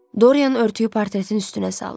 Dorian örtüyü portretin üstünə saldı.